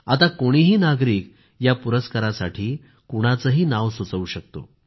आता कोणीही नागरिक या पुरस्कारासाठी कुणाचंही नाव सुचवू शकतो